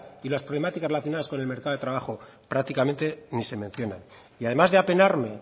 y las problemáticas relacionadas con el mercado del trabajo prácticamente ni se mencionan y además de apenarme